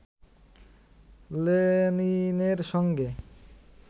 লেনিনের সঙ্গে